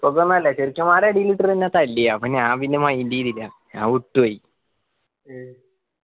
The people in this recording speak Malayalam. അടിയിലിട്ടിട്ട് എന്നെ തല്ലി അപ്പൊ ഞാൻ പിന്നെ mind ചെയ്തില്ല ഞാൻ വിട്ടുപോയി